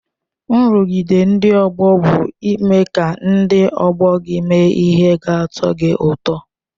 Nrụgide ndị ọgbọ bụ ime ka ndị ọgbọ gị mee ihe ga-atọ gị ụtọ.